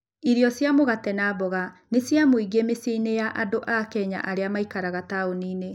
Irio cia mũgate na mboga nĩ cia mũingĩ mĩciĩ-inĩ ya andũ a Kenya arĩa maikaraga taũni-inĩ.